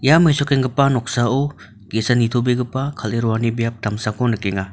ia mesokenggipa noksao ge·sa nitobegipa kal·e roani biap damsako nikenga.